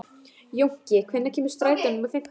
Jónki, hvenær kemur strætó númer fimmtán?